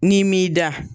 N'i m'i da